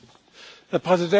Herr Präsident!